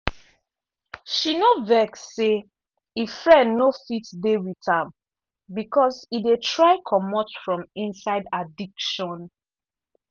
she no vex say e friend no fit dey with am because e dey try comot from inside addiction.